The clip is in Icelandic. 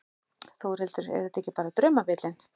Þórhildur: Er þetta ekki bara draumabíllinn?